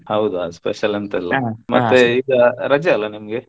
ಹೌದ special ಎಂತಿಲ್ಲ ಮತ್ತೆ ಈಗ ರಜೆ ಅಲ್ಲ ನಿಮ್ಗೆ?